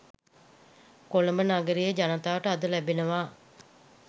කොළඹ නගරයේ ජනතාවට අද ලැබෙනවා